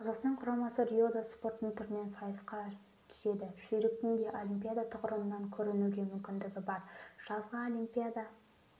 қазақстан құрамасы риода спорттың түрінен сайысқа түседі жүйріктің де олимпиада тұғырынан көрінуге мүмкіндігі бар жазғы олимпиада